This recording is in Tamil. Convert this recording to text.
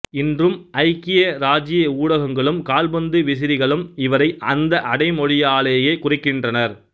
இன்றும் ஐக்கிய ராச்சிய ஊடகங்களும் கால்பந்து விசிறிகளும் இவரை அந்த அடைமொழியாலேயே குறிக்கின்றனர்